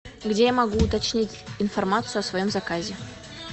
где я могу уточнить информацию о своем заказе